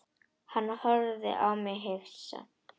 Hann horfði á mig hissa.